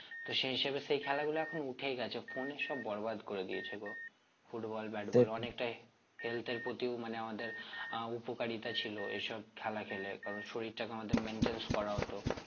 তো সেই হিসেবে সে খেলা গুলো এখন উঠেই গেছে phone এ সব বরবাদ করে দিয়েছে গো football batball অনেকটাই health এর প্রতিও মানে আমাদের আহ উপকারীতা ছিল এসব খেলা খেলে কারণ শরীরটাকে আমাদের maintains করা হতো